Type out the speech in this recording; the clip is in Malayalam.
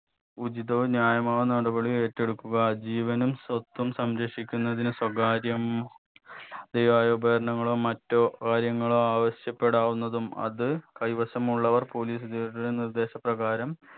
ഉചിതവും ന്യായമാവുന്ന നടപടി ഏറ്റെടുക്കുക ജീവനും സ്വത്തും സംരക്ഷിക്കുന്നതിന് സ്വകാര്യം തിയായ ഉപകാരങ്ങളോ മറ്റോ കാര്യങ്ങളോ ആവശ്യപ്പെടാവുന്നതും അത് കൈവശമുള്ളവർ police ഉദ്യോഗസ്ഥരുടെ നിർദ്ദേശ പ്രകാരം